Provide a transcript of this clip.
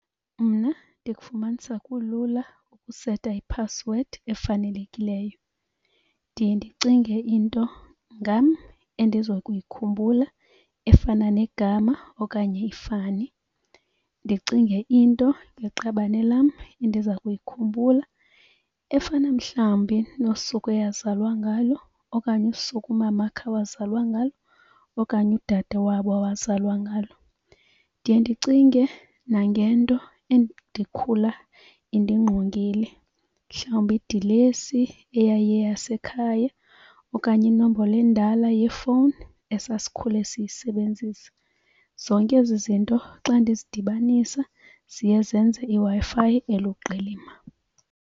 Mna ndikufumanisa kulula ukuseta iphasiwedi efanelekileyo. Ndiye ndicinge into ngam endiza kuyikhumbula efana negama okanye ifani. Ndicinge into ngeqabane lam endiza kuyikhumbula efana mhlawumbi nosuku eyazalwa ngalo okanye usuku umama wakhe awazalwa ngalo okanye udade wabo awazalwa ngalo. Ndiye ndicinge nangento endikhula indingqongile, mhlawumbi idilesi eyayiyeyasekhaya okanye inombolo endala yefowuni esasikhule siyisebenzisa. Zonke ezi zinto xa ndizidibanisa ziye zenze iWi-Fi eluqilima.